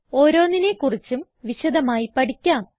ഓരോന്നിനെ കുറിച്ചും വിശദമായി പഠിക്കാം